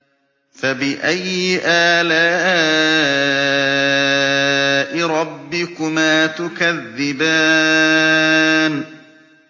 فَبِأَيِّ آلَاءِ رَبِّكُمَا تُكَذِّبَانِ